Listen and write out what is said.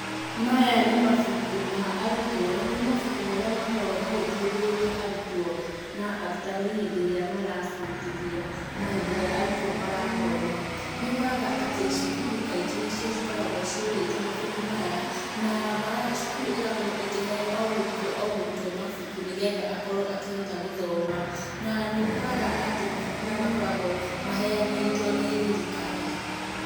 Maya nĩ mabuku ma arutwo, nĩ mabuku marĩa makoragwo magĩteithĩrĩri arutwo, na arutani hĩndĩ ĩrĩa mara bundithia, na hĩndĩ ĩria arutwo marathoma. Nĩ ũkoraga atĩ cukuru kaingĩ nĩcio cikoragwo cigũrĩte mabuku maya, na cukuru ĩgakorwo ĩkĩhe o mũrutwo, o mũrutwo mabuku nĩgetha akorwo akĩhota gũthoma. Na, nĩũkora atĩ mabuku maya makoragwo maheanĩtwo nĩ thirikari.